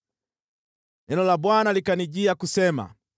Neno la Bwana likanijia kusema: